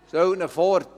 Stellen Sie sich vor: